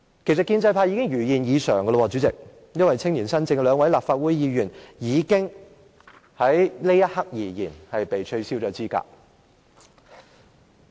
其實，建制派已經如願已償，主席，因為青年新政的兩位立法會議員——在這一刻而言——已經被取消資格。